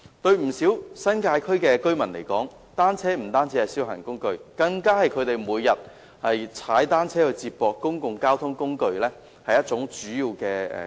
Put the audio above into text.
對不少新界區的居民來說，單車不單是消閒工具，更是他們每天用以接駁公共交通工具的主要工具。